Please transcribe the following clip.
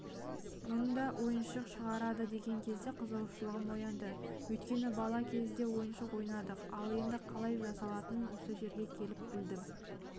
мұнда ойыншық шығарады деген кезде қызығушылығым оянды өйткені бала кезде ойыншық ойнадық ал оның қалай жасалатынын осы жерге келіп білдім